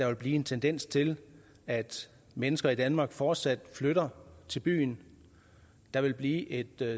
vil blive en tendens til at mennesker i danmark fortsat flytter til byen der vil blive et